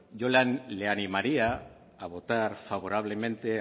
yo le animaría a votar favorablemente